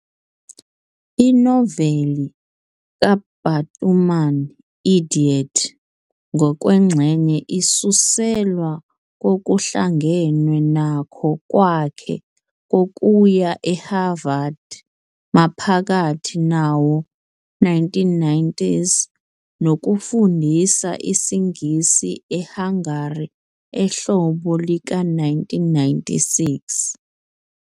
Inoveli kaBatuman "Idiot" ngokwengxenye isuselwa kokuhlangenwe nakho kwakhe kokuya eHarvard maphakathi nawo-1990s nokufundisa isiNgisi eHungary ehlobo lika-1996.